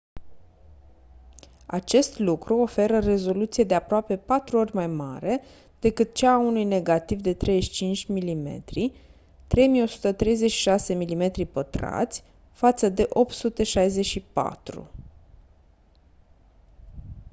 acest lucru oferă rezoluție de aproape patru ori mai mare decât cea a unui negativ de 35 mm 3136 mm2 față de 864